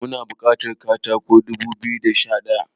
Muna bukatar katako dubu biyu da Sha daya